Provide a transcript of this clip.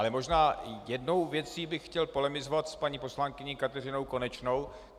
Ale možná jednou věcí bych chtěl polemizovat s paní poslankyní Kateřinou Konečnou.